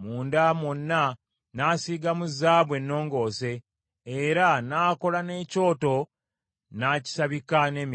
Munda mwonna n’asiigamu zaabu ennongoose , era n’akola n’ekyoto n’akisabika n’emivule.